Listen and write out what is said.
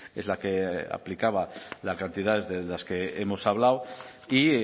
es la que aplicaba las cantidades de las que hemos hablado y